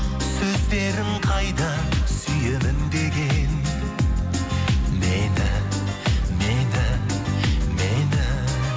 сөздерің қайда сүйемін деген мені мені мені